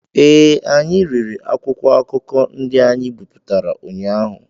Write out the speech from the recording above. ee, anyị rere akwụkwọ akụkọ ndị anyị bipụtara ụnyaahụ